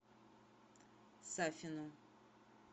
сафину